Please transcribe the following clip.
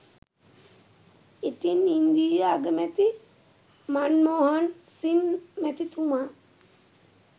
ඉතින් ඉන්දීය අගමැති මන්මෝහන් සිං මැතිතුමා